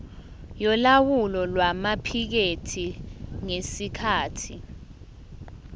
yolawulo lwamaphikethi ngesikhathi